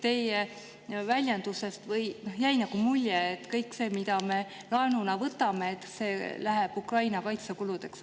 Teie väljendusest jäi nagu mulje, et kõik see, mis me laenuna võtame, läheb Ukraina kaitsekuludeks.